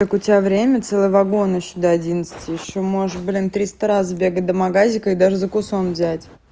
так у тебя время целый вагон ещё до одиннадцати ещё можешь блин триста раз сбегать до магазина и даже закусон взять